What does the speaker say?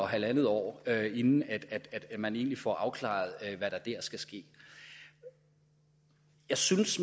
halvandet år inden man egentlig får afklaret hvad der dér skal ske jeg synes